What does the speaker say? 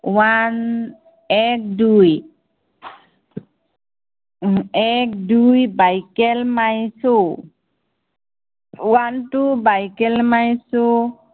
one এক দুই এক দুই buckle my shoe one two bucle my shoe